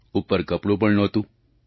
ઉપર કપડું પણ નહોતું